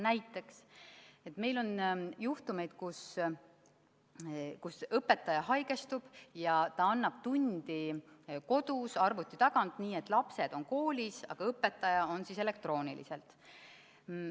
Näiteks on meil juhtumeid, kus õpetaja haigestub ja ta annab tundi kodus arvuti taga, nii et lapsed on koolis, aga õpetaja suhtleb nendega elektrooniliselt.